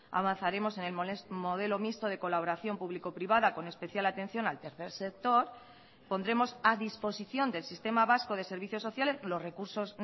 avanzaremos en el modelo mixto de colaboración público privada con especial atención al tercer sector pondremos a disposición del sistema vasco de servicios sociales los recursos